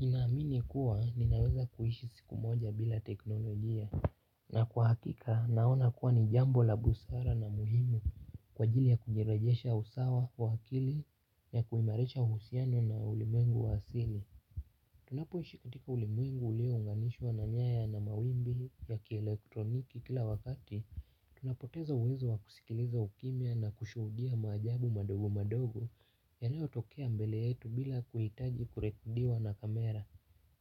Ninaamini kuwa ninaweza kuishi siku moja bila teknolojia na kwa hakika naona kuwa ni jambo la busara na muhimu kwa ajili ya kujirejesha usawa wa akili ya kuimarisha uhusiano na ulimwengu wa asili. Tunapo ishikatika ulimwengu ulio unganishwa na nyaya na mawimbi ya kielektroniki kila wakati. Tunapotezo uwezo wa kusikiliza ukimya na kushuhudia maajabu madogo madogo. Yanayo tokea mbele yetu bila kuhitaji kurekodiwa na kamera.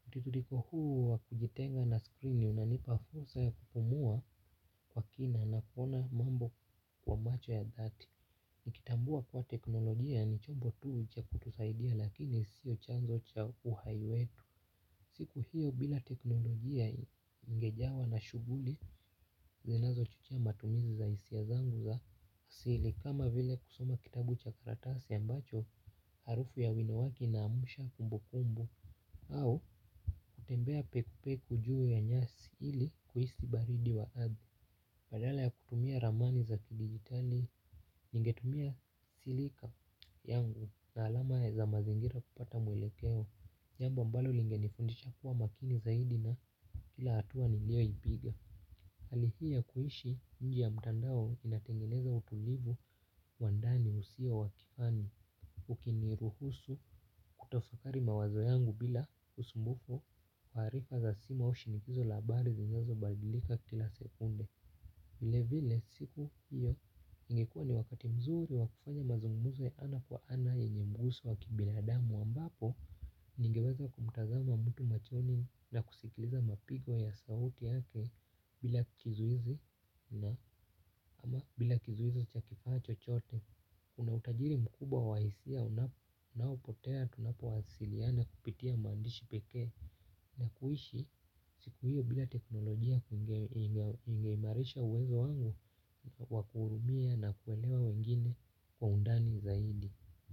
Mutiririko huu wa kujitenga na skrini unanipa fursa ya kupumua kwa kina na kuona mambo kwa macho ya dhati. Nikitambua kuwa teknolojia ni chombo tu cha kutusaidia lakini sio chanzo cha uhai wetu siku hiyo bila teknolojia ningejawa na shughuli zinazo chochea matumizi za hisia zangu za asili. Kama vile kusoma kitabu chakaratasi a mbacho harufu ya wino wake inaamsha kumbukumbu au kutembea pekupeku juu ya nyasi ili kuhisi baridi wa ardhi badala ya kutumia ramani za kidigitali ninge tumia silika yangu na alama za mazingira kupata mwelekeo jambo a mbalo lingenifundisha kuwa makini zaidi na kila hatua ni lio ipiga. Hali hii ya kuishi nje ya mtandao inatengeneza utulivu wandani usio wakifani. Ukini ruhusu kutafakari mawazo yangu bila usumbufu taarifa za simu au shinikizo la habari zinazo badilika kila sekunde. Vile vile siku hiyo ingekuwa ni wakati mzuri wakufanya mazungumuzo ya ana kwa ana yenye mguso wakibinadamu ambapo ningeweza kumtazama mtu machoni na kusikiliza mapigo ya sauti yake bila kizuizi na ama bila kizuizo chakifaa chochote kuna utajiri mkubwa wa hisia unaopotea tunapo wasiliana kupitia maandishi pekee na kuishi siku hiyo bila teknolojia kungeimarisha uwezo wangu wakuhurumia na kuelewa wengine kwa undani zaidi.